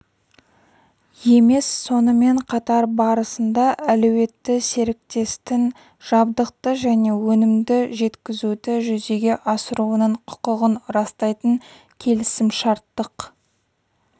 емес сонымен қатар барысында әлеуетті серіктестің жабдықты және өнімді жеткізуді жүзеге асыруының құқығын растайтын келісімшарттық